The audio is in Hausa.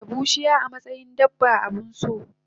tanada bushiya amatsayin dabba abunso